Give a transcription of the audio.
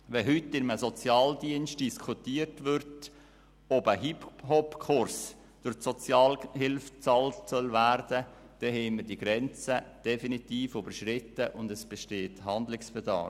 Wenn heute in einem Sozialdienst diskutiert wird, ob ein Hip-Hop-Kurs durch die Sozialhilfe bezahlt werden soll, haben wir die Grenze definitiv überschritten, und es besteht Handlungsbedarf.